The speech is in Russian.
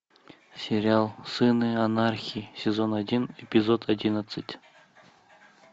сериал сыны анархии сезон один эпизод одиннадцать